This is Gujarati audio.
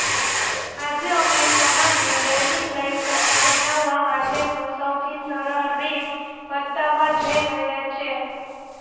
આજે અમે તમાને ડ્રાઇવિંગ લાઇસન્સ બનાવવા માટેનો સૌથી સરળ રીત બતાવવા જઇ રહ્યા છે